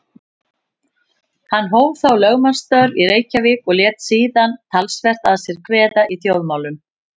Hann hóf þá lögmannsstörf í Reykjavík og lét síðan talsvert að sér kveða í þjóðmálum.